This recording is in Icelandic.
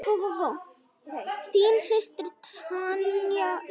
Þín systir, Tanya Líf.